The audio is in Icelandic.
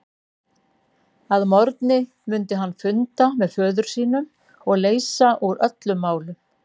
Að morgni mundi hann funda með föður sínum og leysa úr öllum málum.